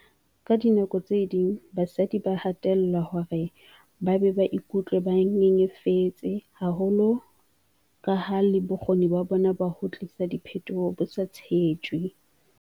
"Ka dinako tse ding basadi ba hatellelwa hore ba be ba ikutlwe ba nyenyefetse haholo kaha le bokgoni ba bona ba ho tlisa diphetoho bo sa tshetjwe."